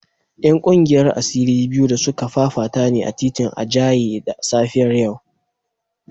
‘Yan kungiyar asiri biyu da suka fafata ne a titin Ijaye da safiyar yau